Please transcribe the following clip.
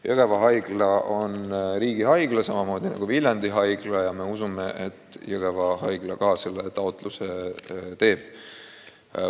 Jõgeva Haigla on riigihaigla samamoodi nagu Viljandi Haigla ja me usume, et ka Jõgeva Haigla selle taotluse teeb.